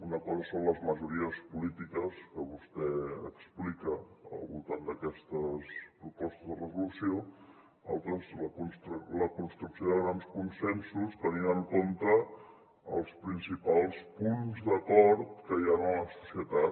una cosa són les majories polítiques que vostè explica al voltant d’aquestes propostes de resolució altres la construcció de grans consensos tenint en compte els principals punts d’acord que hi ha en la societat